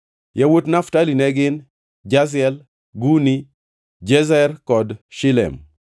Yawuot Naftali ne gin: Jaziel, Guni, Jezer kod Shilem.